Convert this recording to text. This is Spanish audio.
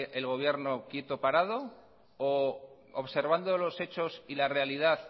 el gobierno quieto parado u observando los hechos y la realidad